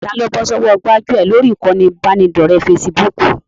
Taa ló bọ́ sọ́wọ́ gbájúẹ̀ lórí ìkànnì ìbánidọ́ọ̀rẹ́ fesibúùkù?